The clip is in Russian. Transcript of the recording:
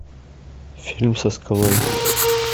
фильм со скалой